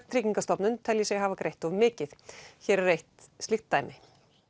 Tryggingastofnun telji sig hafa greitt of mikið hér er eitt slíkt dæmi